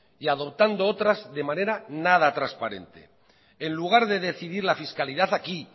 y adoptando otras de manera nada transparente en lugar de decidir la fiscalidad aquí